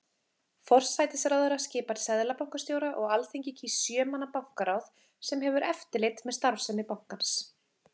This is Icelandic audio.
Forsætisráðherra skipar seðlabankastjóra og Alþingi kýs sjö manna bankaráð sem hefur eftirlit með starfsemi bankans.